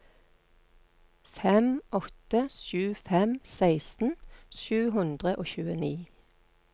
fem åtte sju fem seksten sju hundre og tjueni